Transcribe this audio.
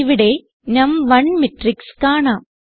ഇവിടെ നം1 മാട്രിക്സ് കാണാം